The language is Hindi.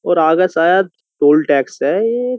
और आगे शायद टोल टैक्स है ये।